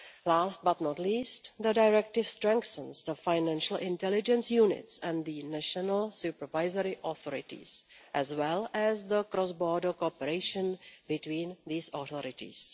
Last but not least, the Directive strengthens the financial intelligence units and the national supervisory authorities, as well as the cross border cooperation between these authorities.